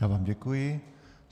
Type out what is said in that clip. Já vám děkuji.